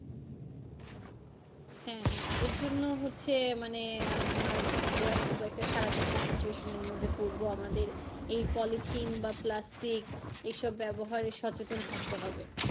হ্যাঁ হ্যাঁ এরজন্য হচ্ছে মানে আহ আমরা খুব একটা খারাপ একটা situation এর মধ্যে পড়বো আমাদের এই পলিথিন বা plastic এই সব ব্যাবহারে সচেতন থাকতে হবে।